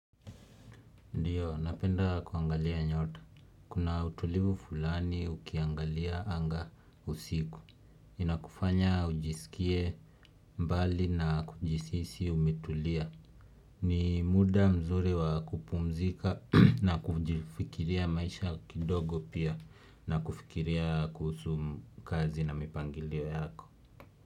Ndiyo napenda kuangalia nyota kuna utulivu fulani ukiangalia anga usiku inakufanya ujisikie mbali na kujihisi umetulia ni muda mzuri wa kupumzika na kujifikiria maisha kidogo pia na kufikiria kuhusu kazi na mipangilio yako.